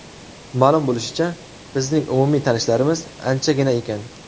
Ma’lum bo‘lishicha, bizning umumiy tanishlarimiz anchagina ekan.